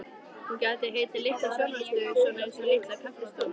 Hún gæti heitið Litla sjónvarpsstöðin, svona einsog Litla kaffistofan.